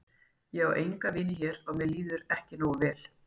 Ég á enga vini hér mér líður ekki nógu vel.